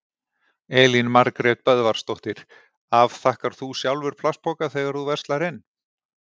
Elín Margrét Böðvarsdóttir: Afþakkar þú sjálfur plastpoka þegar þú verslar inn?